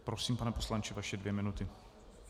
Prosím, pane poslanče, vaše dvě minuty.